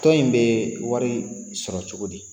Tɔn in bɛ wari sɔrɔ cogo di?